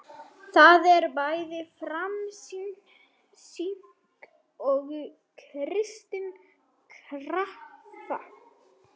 Það er bæði femínísk og kristin krafa.